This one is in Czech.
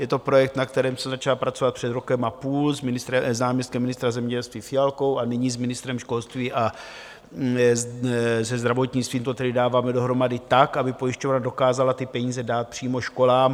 Je to projekt, na kterém se začalo pracovat před rokem a půl s náměstkem ministra zemědělství Fialkou a nyní s ministrem školství, a se zdravotnictvím to tedy dáváme dohromady tak, aby pojišťovna dokázala ty peníze dát přímo školám.